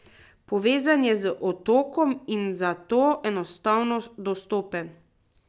Povezan je z otokom in zato enostavno dostopen.